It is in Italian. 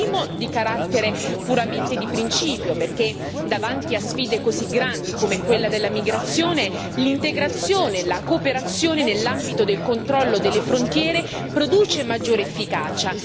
Il primo è di carattere puramente di principio, perché davanti a sfide così grandi, come quella della migrazione, l'integrazione e la cooperazione nell'ambito del controllo delle frontiere produce maggiore efficacia.